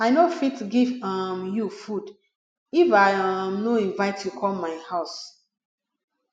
i no fit give um you food if i um no invite you come my house